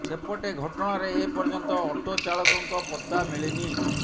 ସେପଟେ ଘଟଣାରେ ଏ ପର୍ଯ୍ୟନ୍ତ ଅଟୋ ଚାଳକଙ୍କ ପତ୍ତା ମିଳିନି